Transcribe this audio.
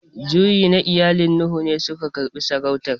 Juyi na iyalan Nuhu ne su karbi saurauta.